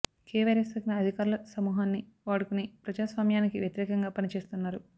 కే virus సోకిన అధికారుల సమూహాన్ని వాడుకొని ప్రజాస్వామ్యానికి వ్యతిరేకంగా పని చేస్తున్నారు